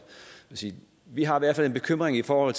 vi har i hvert fald en bekymring for